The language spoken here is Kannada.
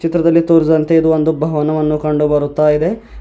ಚಿತ್ರದಲ್ಲಿ ತೋರಿಸಿದಂತೆ ಇದು ಒಂದು ಭವನವನ್ನು ಕಂಡು ಬರುತ್ತಾ ಇದೆ.